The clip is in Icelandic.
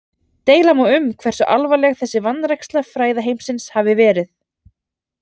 Deila má um hversu alvarleg þessi vanræksla fræðaheimsins hafi verið.